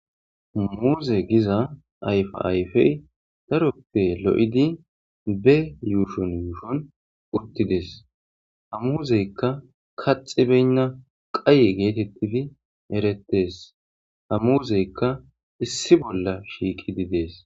Muuze giza ayfa ayfey daroppe lo'idi be yuushon yuushon uttides. Ha muuzeykka kaxxi beyna qaye geetetidi erettes. Ha muuzeykka issi bolla shiiqidi dees.